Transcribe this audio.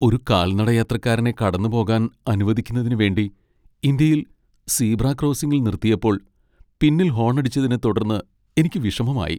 ഒരു കാൽനടയാത്രക്കാരനെ കടന്നുപോകാൻ അനുവദിക്കുന്നതിനുവേണ്ടി ഇന്ത്യയിൽ സീബ്ര ക്രോസിംഗിൽ നിർത്തിയപ്പോൾ പിന്നിൽ ഹോണടിച്ചതിനെ തുടർന്ന് എനിക്ക് വിഷമമായി.